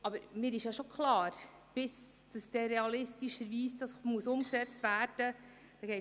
Aber mir ist schon klar, dass noch viel Wasser die Aare hinunterfliesst, bis das realistischerweise umgesetzt werden muss.